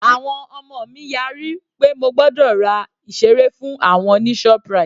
Àwọn ọmọ mi yára pé mo gbọ́dọ̀ ra ìseré fún àwọn ní ShopRite